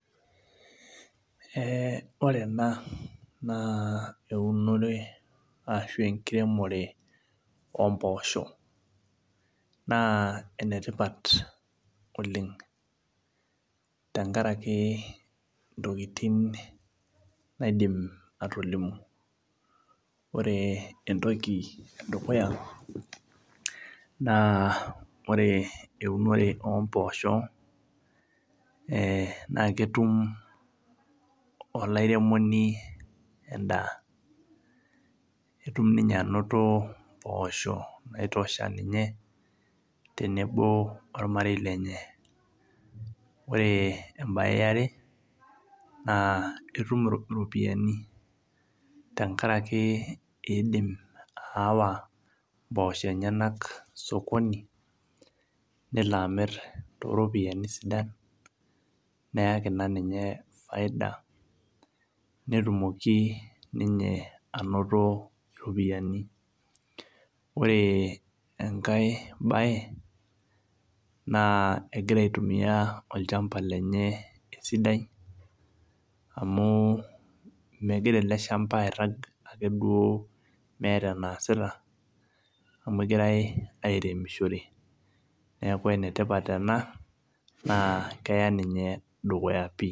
Ore ena na eunore ashu enkiremore ompoosho na enetipat oleng tenkaraki ntokitin naidim atolimu ore entoki edukuya na ore eunore ompoosho na ketum olaremoni endaa kidim ninye ainoto mposho naitosha ormarei lenye ore embae eare na ituk iropiyiani tenkaraki indim ayawa mpoosho enyenak osokoni nelo amir toropiyani sidan neyaki na ninye faida netumoki nninye ainoto ropiyani ore enkae bae na egira aitumia olchamba lenye esidai amu megira eleshamba airag ake duo meeta enaasita amu egirae aremishoreneaku enetipat ena na keya ninye dukuya pii.